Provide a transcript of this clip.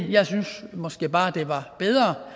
jeg synes måske bare at det var bedre